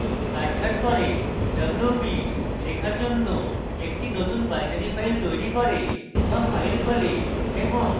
wb = লেখার জন্য একটি নতুন binary file তৈরী করে wb file খোলে এবং শূন্য দৈর্ঘ্যের জন্য কাটছাঁট করে